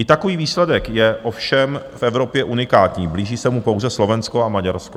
I takový výsledek je ovšem v Evropě unikátní, blíží se mu pouze Slovensko a Maďarsko.